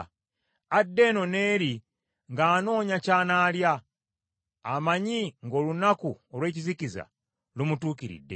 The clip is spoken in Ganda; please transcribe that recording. Adda eno n’eri ng’anoonya ky’anaalya, amanyi ng’olunaku olw’ekizikiza lumutuukiridde.